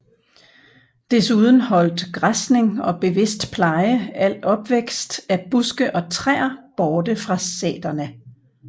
Desuden holdt græsning og bevidst pleje al opvækst af buske og træer borte fra sæterne